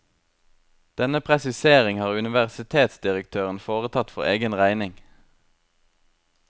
Denne presisering har universitetsdirektøren foretatt for egen regning.